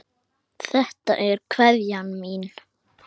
Þetta er kveðjan mín.